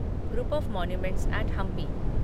group of monuments at Hampi